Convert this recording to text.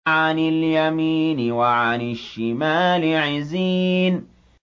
عَنِ الْيَمِينِ وَعَنِ الشِّمَالِ عِزِينَ